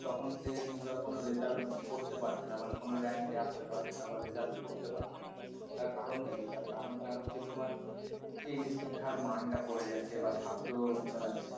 তখন সে কিন্তু আর কোন result করতে পারছে না মানে কোন rank এ এ আসতে পারছে না বা result করতে পারছে না তার কারণটা কি তার কারণটা হচ্ছে তোমার সেই যে শিক্ষার মান টা পরে যাচ্ছে বা ছাত্র